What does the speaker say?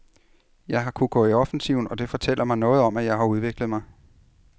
Jeg har kunnet gå i offensiven, og det fortæller mig noget om, at jeg har udviklet mig.